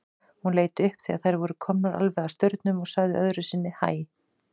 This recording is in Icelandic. Hún leit upp þegar þær voru komnar alveg að staurnum og sagði öðru sinni hæ.